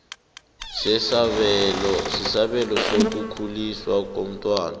sesabelo sokukhuliswa komntwana